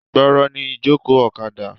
Gbooro ni ìjókòó ọ̀kadà.